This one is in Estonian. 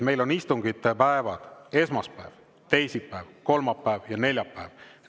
Meil on istungipäevad esmaspäev, teisipäev, kolmapäev ja neljapäev.